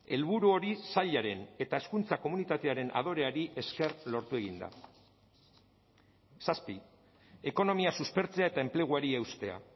helburu hori sailaren eta hezkuntza komunitatearen adoreari esker lortu egin da zazpi ekonomia suspertzea eta enpleguari eustea